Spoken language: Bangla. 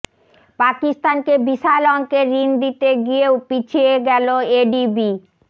পাকিস্তানকে বিশাল অঙ্কের ঋণ দিতে গিয়েও পিছিয়ে গেল এডিবি